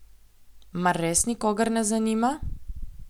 Mar res nikogar ne zanima?